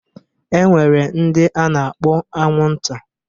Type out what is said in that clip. E nwere ndị a na-akpọ anwụnta.